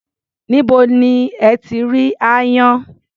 Níbo lẹ ti rí aáyán?